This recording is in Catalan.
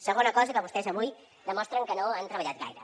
segona cosa que vostès avui demostren que no han treballat gaire